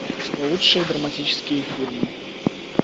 лучшие драматические фильмы